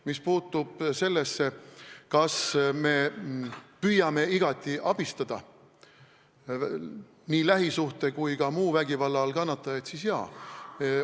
Mis puutub sellesse, kas me püüame igati abistada nii lähisuhte- kui ka muu vägivalla all kannatajaid, siis jaa.